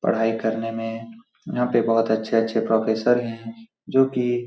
पढाई करने में यहाँ पे बहुत अच्छे अच्छे प्रोफेसर है जो की --